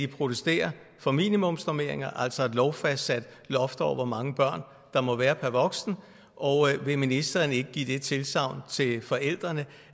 protesterer for minimumsnormeringer altså et lovfastsat luft over hvor mange børn der må være per voksen og vil ministeren ikke give det tilsagn til forældrene